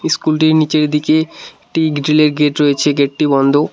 স্কুলটির নীচের দিকে একটি গ্রিলের গেট রয়েছে গেটটি বন্ধ।